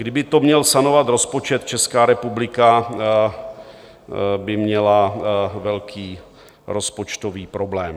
Kdyby to měl sanovat rozpočet, Česká republika by měla velký rozpočtový problém.